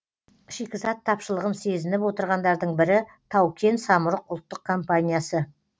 шикізат тапшылығын сезініп отырғандардың бірі тау кен самұрық ұлттық компаниясы